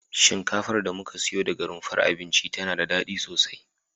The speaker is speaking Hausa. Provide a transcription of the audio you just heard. Shinkafar da muka siyo daga rumfar abinci tana da dadi sosai